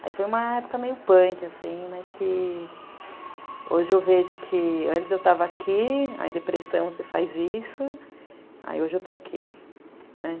Aí foi uma época meio punk, assim, mas que... Hoje eu vejo que antes eu estava aqui, aí depressão você faz isso, aí hoje eu estou aqui, né?